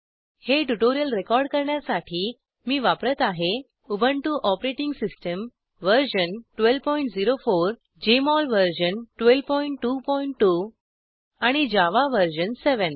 हे tutorial record करण्यासाठी मी वापरत आहे Ubuntu OS version 1204 JMol version 1222 आणि जावा वर्जन 7